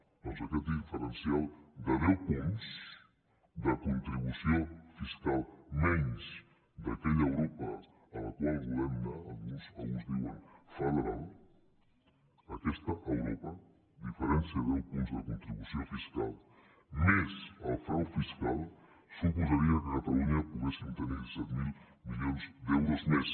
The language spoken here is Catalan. doncs aquest diferencial de deu punts de contribució fiscal menys que aquella europa a la qual volem anar alguns en diuen federal aquesta europa amb diferència de deu punts de contribució fiscal més el frau fiscal suposaria que a catalunya poguéssim tenir disset mil milions d’euros més